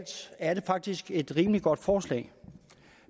er det faktisk et rimelig godt forslag